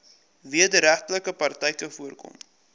wederregtelike praktyke voorkom